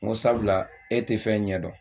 N ko sabula e tɛ fɛn ɲɛ dɔn